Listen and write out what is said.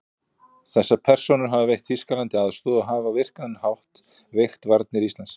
Þessar persónur hafa veitt Þýskalandi aðstoð og hafa á virkan hátt veikt varnir Íslands.